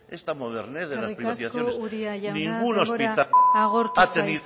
esta modernez de las privatizaciones eskerrik asko uria jauna denbora agortu zaizu